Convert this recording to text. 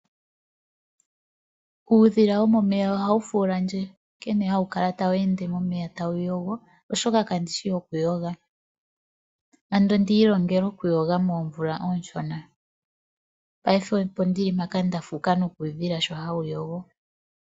Uudhila womomeya ohawu fuulandje nkene hawu kala tawu ende momeya tawu yogo molwaashoka kandishi okuyoga. Ando ondi ilongele okuyoga moomvula oonshona, paife opo ndili mpaka nda fuuka kuudhila sho hawu yogo.